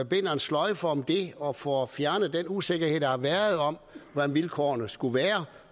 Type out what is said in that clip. binder en sløjfe om det og får fjernet den usikkerhed der har været om hvordan vilkårene skal være